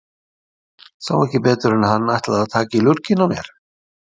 Sá ekki betur en að hann ætlaði að taka í lurginn á mér.